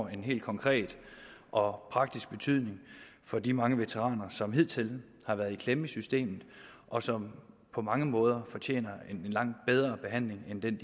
helt konkret og praktisk betydning for de mange veteraner som hidtil har været i klemme i systemet og som på mange måder fortjener en langt bedre behandling end den